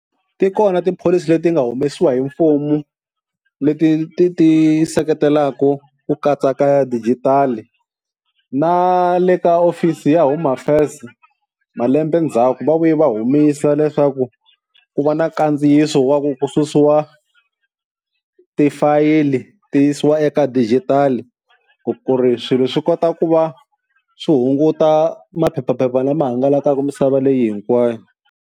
Ti kona tipholisi leti nga humesiwa hi mfumo, leti ti ti seketelaka ku katsa ka dijitali na le ka office ya Home Affairs malembe ndzhaku va vuye va humisa leswaku ku va na nkandziyiso wa ku susiwa tifayili ti yisiwa eka digitali ku ku ri swilo swi kota ku va swi hunguta maphephaphepha lama hangalakaka misava leyi hinkwayo.